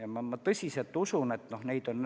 Aga ma tõsiselt usun, et see on võimalik.